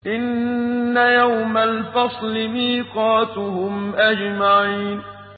إِنَّ يَوْمَ الْفَصْلِ مِيقَاتُهُمْ أَجْمَعِينَ إِنَّ يَوْمَ الْفَصْلِ مِيقَاتُهُمْ أَجْمَعِينَ